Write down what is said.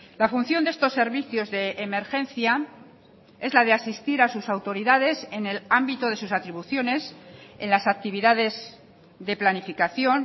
la función de estos servicios de emergencia es la de asistir a sus autoridades en el ámbito de sus atribuciones en las actividades de planificación